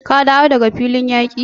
Ka dawo daga filin yaki?